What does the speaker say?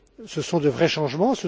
Ce sont de vrais changements.